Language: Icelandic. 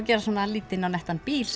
gera svona lítinn og nettan bíl